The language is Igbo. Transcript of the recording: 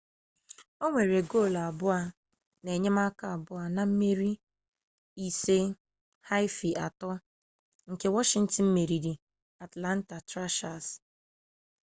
o nwere goolu abụọ na enyemaka abụọ na mmeri 5-3 nke washington meriri atlanta thrashers